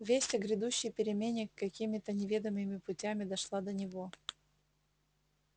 весть о грядущей перемене какими то неведомыми путями дошла до него